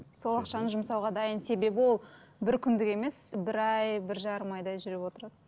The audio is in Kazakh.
сол ақшаны жұмсауға дайын себебі ол бір күндік емес бір ай бір жарым айдай жүріп отырады